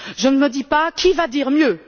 Je ne me dis pas qui va dire mieux?